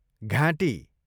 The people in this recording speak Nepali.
घाँटी